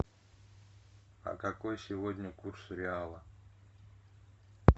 а какой сегодня курс реала